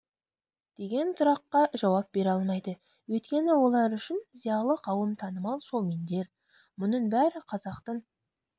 деген сұраққа жауап бере алмайды өйткені олар үшін зиялы қауым танымал шоумендер мұның бәрі қазақтың